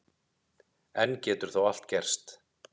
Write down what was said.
Enn getur þó allt gerst